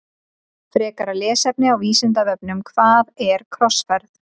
Frekara lesefni á Vísindavefnum Hvað er krossferð?